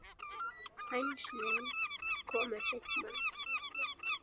Hænsnin komu seinna.